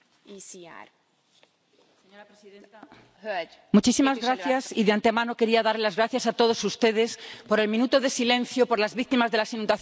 Señora presidenta, de antemano quería dar las gracias a todos ustedes por el minuto de silencio por las víctimas de las inundaciones en mi nación, España.